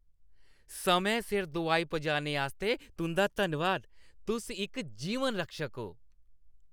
समें सिर दोआई पजाने आस्तै तुंʼदा धन्नवाद। तुस इक जीवन रक्षक ओ।